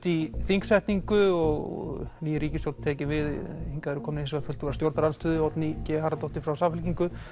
í þingsetningu og ný ríkisstjórn tekin við hingað eru komnir fulltrúar stjórnarandstöðu Oddný g Harðardóttir frá Samfylkingu